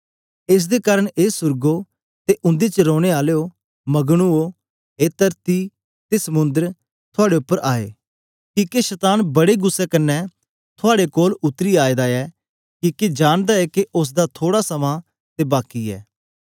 एस दे कारन ए सुर्गो ते उंदे च रैने आलेयो मगन ओ ए तरती ते समुंद्र थआड़े उपर आए किके शतान बड्डे गुस्सै कन्ने थआड़े कोल उतरी आएदा ऐ किके जानदा ऐ के उस्स दा थोड़ा समां ते बाकी ऐ